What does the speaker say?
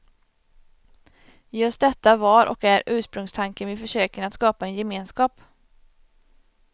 Just detta var och är ursprungstanken vid försöken att skapa en gemenskap.